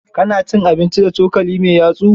ka na cin abinci da cokali mai yatsu?